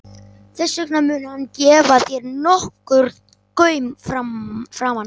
Þess vegna mun hann gefa þér nokkurn gaum framan af.